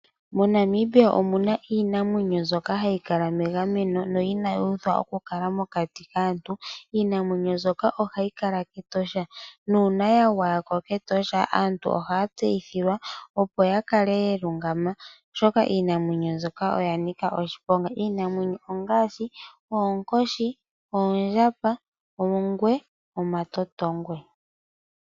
Mo Namibia omuna iinamwenyo mbyoka hayi kala megameno no inayi uthwa okukala mokati kaantu. Iinamwenyo mbyoka ohayi kala kEtosha, nuuna ya gwaya ko kEtosha aantu ohaya tseyithilwa opo ya kale ya lungama oshoka iinamwenyo mbyoka oya nika oshiponga. Iinamwenyo ongaashi oonkoshi, oondjamba, oongwe nomatotongwe.